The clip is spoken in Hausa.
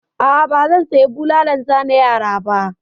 A'a, ba zan saya bulalan zane yara ba.